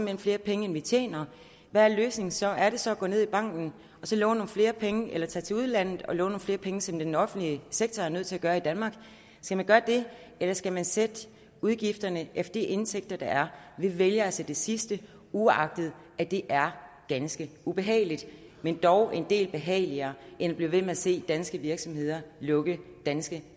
hen flere penge end vi tjener hvad er løsningen så er det så at gå ned i banken og låne nogle flere penge eller at tage til udlandet og låne nogle flere penge som den offentlige sektor er nødt til at gøre i danmark skal man gøre det eller skal man sætte udgifterne efter de indtægter der er vi vælger altså det sidste uagtet at det er ganske ubehageligt men dog en del behageligere end at blive ved med at se danske virksomheder lukke danske